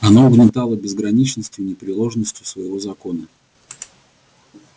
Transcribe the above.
оно угнетало безграничностью и непреложностью своего закона